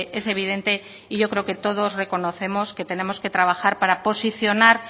es evidente y yo creo que todos reconocemos que tenemos que trabajar para posicionar